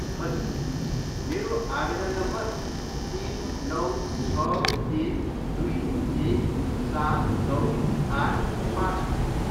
हजुर, मेरो आवेदन नम्बर तिन, नौ, छ, एक, दुई, एक, सात, नौ, आठ, पाँच हो।